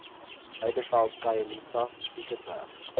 heideveld khayelitsha piketberg